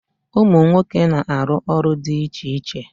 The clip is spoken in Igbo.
Umu nwoke na aru olu di iche iche.